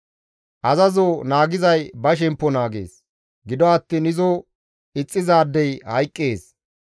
Azazo naagizay ba shemppo naagees; gido attiin izo ixxizaadey hayqqees.